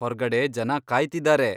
ಹೊರ್ಗಡೆ ಜನ ಕಾಯ್ತಿದ್ದಾರೆ.